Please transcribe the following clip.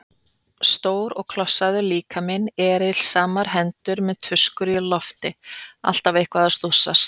Stór og klossaður líkaminn, erilsamar hendur með tuskur á lofti, alltaf eitthvað að stússast.